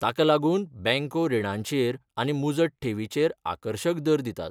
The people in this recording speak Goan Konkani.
ताका लागून बँको रिणांचेर आनी मुजत ठेवीचेर आकर्शक दर दितात.